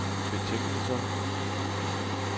betingelser